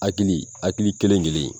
Hakili hakili kelen kelen in